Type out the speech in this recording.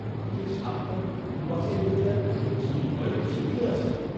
কেকের স্বাদটা যদি ভুল বাছাই হয়ে যায়, সেই ভয়েই তো সিঁটিয়ে আছি।